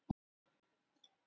Vil hræða hann.